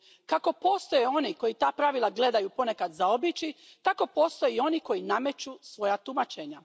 Kako postoje oni koji ta pravila gledaju ponekad zaobići, tako postoje i oni koji nameću svoja tumačenja.